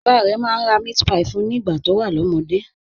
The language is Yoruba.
Bàbá rẹ̀ máa ń ra meatpie fún un nígbà tó wà lọ́mọdé